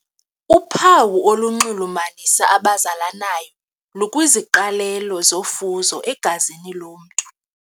Uphawu olunxulumanisa abazalanayo lukwiziqalelo zofuzo egazini lomntu.